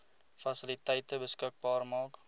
fasiliteite beskikbaar maak